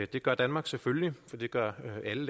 det gør danmark selvfølgelig for det gør alle